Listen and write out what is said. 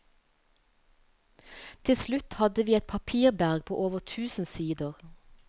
Til slutt hadde vi et papirberg på over tusen sider.